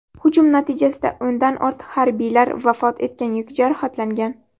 Hujum natijasida o‘ndan ortiq harbiylar vafot etgan yoki jarohatlangan.